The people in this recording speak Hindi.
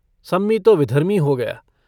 सम्मी तो विधर्मी हो गया।